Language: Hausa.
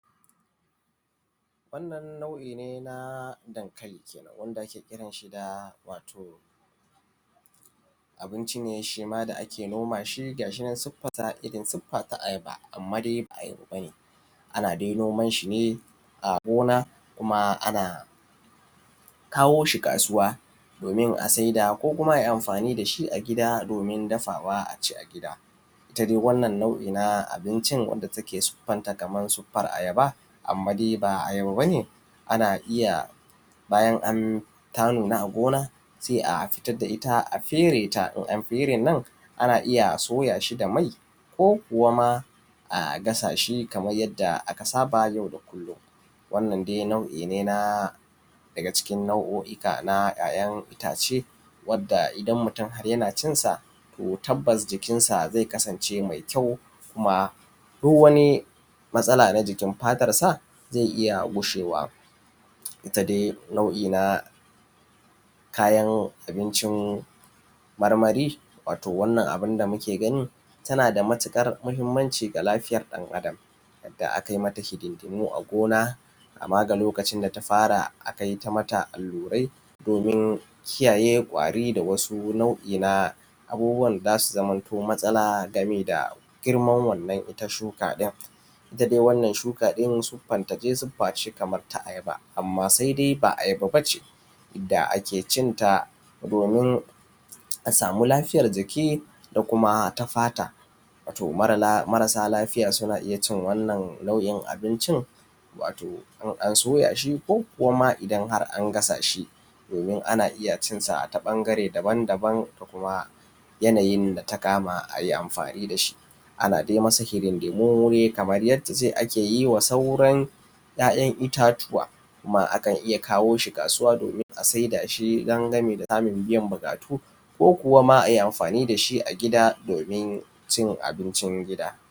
Wannan nau’ine na dankali kenan wanda ake kiranshi da da wato, abinci shima da’ake nomashi gashinan sifata irrin sufa ta ayaba. Amma dai bahi bane, ana dai nomanshine a gona a kawoshi kasuwa domin asaida ko kuma ai amfani dashi a gida domin dafawa aci a gida. Itta dai wannan nau’I na abincin wanda take sufanta kamar suffan ayaba amma dai ba ayaba bane, anna iyya bayan n ta nuna a gona sai a fitar da itta a fereta in an feren nan ana iyya a soyashi da mai ko kuwama a gasashi yanda aka saba yau da kullum. Wannan dai nau’ine na daga cikin nau’ika na ‘ya’ ‘yan’ ittace wadda idan mutun Haryana cinsa to tabbasjikin zai kasance mai kyau kuma duk wani matsala na jikin fatarsa zai iyya gushewa itta nau’ina kayan abincin marmari wato wannan abincin da muke gani wato tanada matuƙar mahimmanci ga lafiyan ɗan adam. Yadda akai mata hidindimu a gona kamaga lokacin da tafara akaita mata allurai domin kiyaye kwari da wasu nau’ina abubuwan da zasu zamanto matsala saboda girman wannan itta shuka ɗin. itta dai wannan shuka ɗin siffarta dai sufface Kaman na ayaba amma saidai ba ayaba bace da’ake cinta domin a samu lafiyar jiki da kuma ta fata, wato marasa lafiya suna iyyacin wannan nau’in abincin in an soyashi koma idan angasashi, domin ana iyya cinda ta ɓangare daban daban da kuma yanayin da takama ayi amfani dashi. Ana dai amasa hidin dimu dai Kaman yadda dai a keyiwa sauran ‘ya’ ‘yan’ ittatuwa kuma akan iyya kawoshi kasuwa domin a saida shi dangane da samun biyan buƙatu ko kuwama ai amfani dashi a gida domin cin abincin gida.